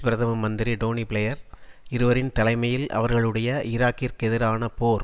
பிரதம மந்திரி Tony Blair இருவரின் தலைமையில் அவர்களுடைய ஈராக்கிற்கெதிரான போர்